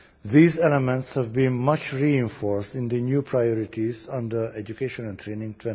These elements have been much reinforced in the new priorities under Education and Training